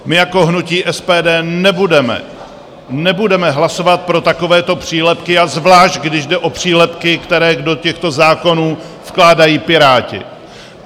My jako hnutí SPD nebudeme hlasovat pro takovéto přílepky, a zvlášť když jde o přílepky, které do těchto zákonů vkládají Piráti.